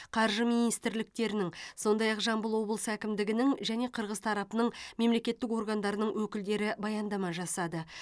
қаржы министрліктерінің сондай ақ жамбыл облысы әкімдігінің және қырғыз тарапының мемлекеттік органдарының өкілдері баяндама жасады